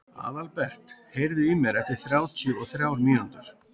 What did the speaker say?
Aðalbert, heyrðu í mér eftir þrjátíu og þrjár mínútur.